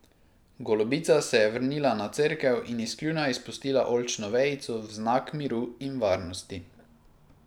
Golobica se je vrnila na cerkev in iz kljuna izpustila oljčno vejico v znak miru in varnosti.